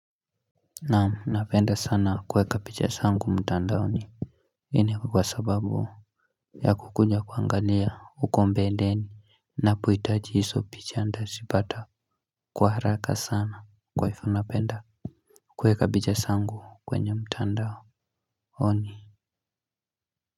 Naam napenda sana kuweka picha zangu mtandaoni hii ni kwa sababu ya kukuja kuangalia huko mbeleni napohitaji hizo picha nitazipata kwa haraka sana. Kwa hivo napenda kuweka picha zangu kwenye mtandaoni.